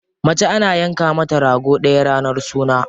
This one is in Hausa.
Mace ana yanka mata rago ɗaya ranar suna.